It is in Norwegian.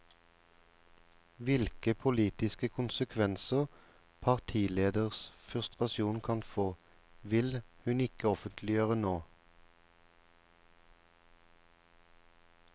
Hvilke politiske konsekvenser partilederens frustrasjon kan få, vil hun ikke offentliggjøre nå.